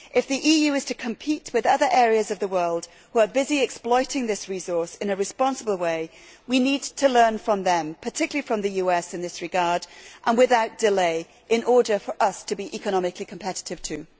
If the EU is to compete with other areas of the world who are busy exploiting this resource in a responsible way we need to learn from them, particularly from the US in this regard, and without delay in order for us to be economically competitive too.